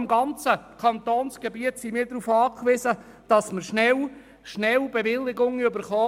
Im ganzen Kantonsgebiet sind wir darauf angewiesen, dass man rasch Bewilligungen erhält.